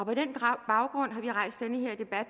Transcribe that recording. på den baggrund